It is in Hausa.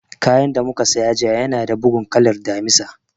Kayan da mu ka saya jiya ya na da bugun kalan Damisa